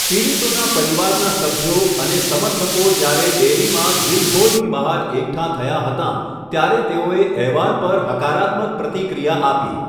પીડિતોના પરિવારના સભ્યો અને સમર્થકો જ્યારે ડેરીમાં ગિલ્ડહોલની બહાર એકઠાં થયાં હતાં, ત્યારે તેઓએ અહેવાલ પર હકારાત્મક પ્રતિક્રિયા આપી, .